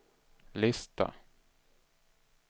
lista